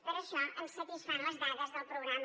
per això ens satisfan les dades del programa